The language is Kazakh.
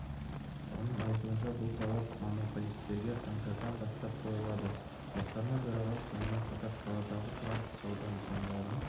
оның айтуынша бұл талап монополистерге қаңтардан бастап қойылады басқарма төрағасы сонымен қатар қаладағы тұрақсыз сауда нысандарын